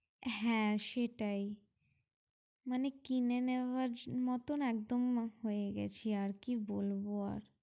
হ্যাঁ সেটাই মানে কিনে নেবার মতো একদম হয়ে গেছি আর কি বলবো আর?